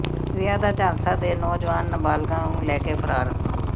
ਵਿਆਹ ਦਾ ਝਾਂਸਾ ਦੇ ਨੌਜਵਾਨ ਨਾਬਾਲਗਾ ਨੂੰ ਲੈ ਕੇ ਫਰਾਰ